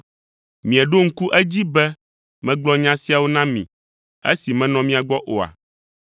Mieɖo ŋku edzi be megblɔ nya siawo na mi esi menɔ mia gbɔ oa?